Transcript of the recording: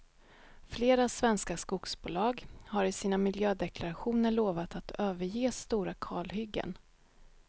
Flera svenska skogsbolag har i sina miljödeklarationer lovat att överge stora kalhyggen.